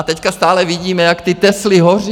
A teď stále vidíme, jak ty Tesly hoří.